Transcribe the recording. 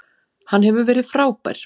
Hann hefur verið frábær.